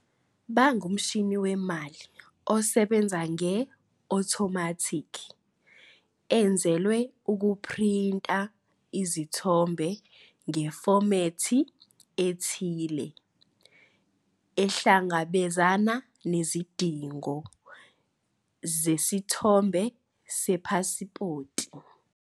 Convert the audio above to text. Bangumshini wemali osebenza nge-othomathikhi enzelwe ukuphrinta izithombe ngefomethi ethile ehlangabezana nezidingo zesithombe sepasipoti.